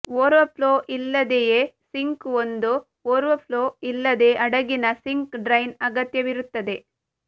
overflow ಇಲ್ಲದೆಯೇ sink ಒಂದು overflow ಇಲ್ಲದೆ ಹಡಗಿನ ಸಿಂಕ್ ಡ್ರೈನ್ ಅಗತ್ಯವಿರುತ್ತದೆ